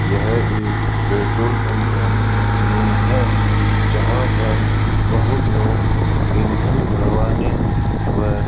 यह एक petrol pump का सीन है जहां पर बहुत लोग ईंधन भरवाने व --